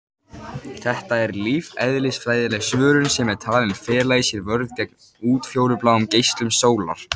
Þetta er lífeðlisfræðileg svörun sem er talin fela í sér vörn gegn útfjólubláum geislum sólar.